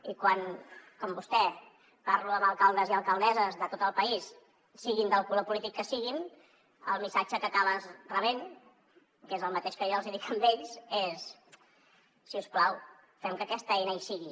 i quan com vostè parlo amb alcaldes i alcaldesses de tot el país siguin del color polític que siguin el missatge que acabes rebent que és el mateix que jo els hi dic a ells és si us plau fem que aquesta eina hi sigui